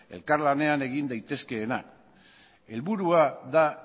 elkar lanean egin daitezkeenak helburua da